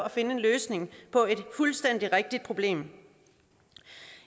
at finde en løsning på et fuldstændig rigtigt problem